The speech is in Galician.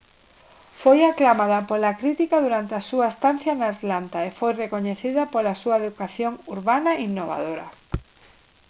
foi aclamada pola crítica durante a súa estancia en atlanta e foi recoñecida pola súa educación urbana innovadora